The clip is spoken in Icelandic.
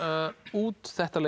út þetta